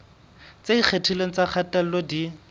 tse ikgethileng tsa kgatello di